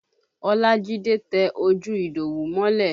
Olajide tẹ ojú Idowu mọ́lẹ̀